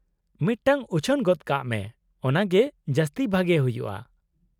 -ᱢᱤᱫᱴᱟᱝ ᱩᱪᱷᱟᱹᱱ ᱜᱚᱫ ᱠᱟᱜ ᱢᱮ, ᱚᱱᱟ ᱜᱮ ᱡᱟᱹᱥᱛᱤ ᱵᱷᱟᱜᱮ ᱦᱩᱭᱩᱜᱼᱟ ᱾